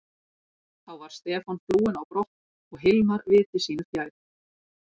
Þá var Stefán flúinn á brott og Hilmar viti sínu fjær.